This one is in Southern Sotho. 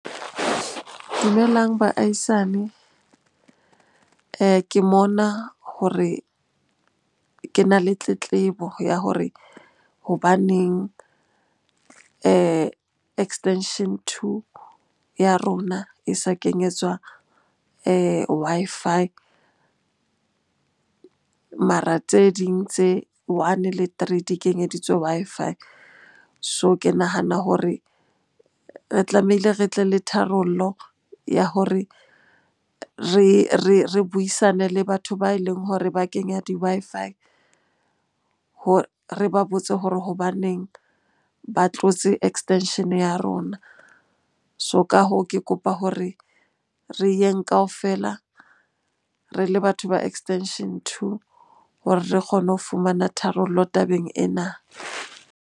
Dumelang baahisane. Ke mona hore ke na le tletlebo ya hore hobaneng extension two ya rona e sa kenyetswa Wi-Fi, mara tse ding tse one le three di kenyeditswe Wi-Fi. So ke nahana hore re tlamehile re tle le tharollo ya hore re buisane le batho ba e leng hore ba kenya di-Wi-Fi re ba botse hore hobaneng ba tlotse extension-e ya rona? So ka hoo, ke kopa hore re yeng kaofela re le batho ba extension two hore re kgone ho fumana tharollo tabeng ena.